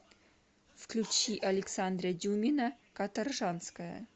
включи александра дюмина каторжанская